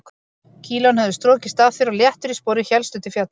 Kílóin höfðu strokist af þér og léttur í spori hélstu til fjalla.